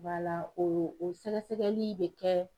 o o sɛgɛsɛgɛli bɛ kɛ